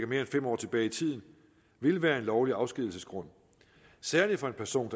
mere end fem år tilbage i tiden vil være en lovlig afskedigelsesgrund særligt for en person